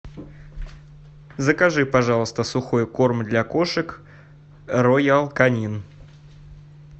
закажи пожалуйста сухой корм для кошек роял канин